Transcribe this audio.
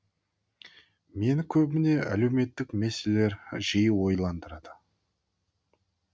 мені көбіне әлеуметтік мәселелер жиі ойландырады